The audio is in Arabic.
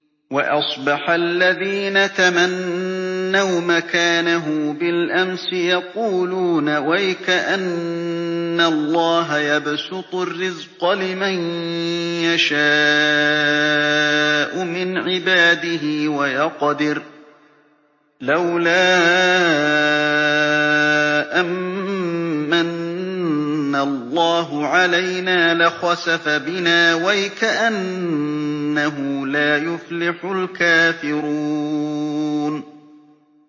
وَأَصْبَحَ الَّذِينَ تَمَنَّوْا مَكَانَهُ بِالْأَمْسِ يَقُولُونَ وَيْكَأَنَّ اللَّهَ يَبْسُطُ الرِّزْقَ لِمَن يَشَاءُ مِنْ عِبَادِهِ وَيَقْدِرُ ۖ لَوْلَا أَن مَّنَّ اللَّهُ عَلَيْنَا لَخَسَفَ بِنَا ۖ وَيْكَأَنَّهُ لَا يُفْلِحُ الْكَافِرُونَ